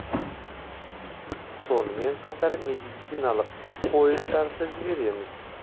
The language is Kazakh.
сонымен қатар медициналық пойыздарды жібереміз